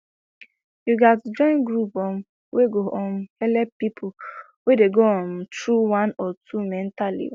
you gats join group um wey go um helep people wey dey go um through one or two mentally